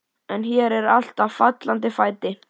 En hér er allt á fallanda fæti.